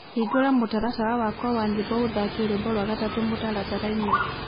Hĩngũra mũtaratara wakwa wa nyĩmbo ũthake rwĩmbo rwa gatatũ mũtarataraĩnĩ